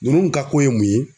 Ninnu ka ko ye mun ye?